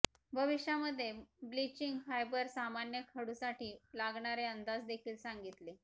भविष्यामध्ये bleaching fibre सामान्य खडूसाठी लागणारे अंदाज देखील सांगितले